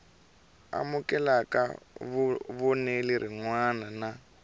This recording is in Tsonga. amukela vonelo rin wana na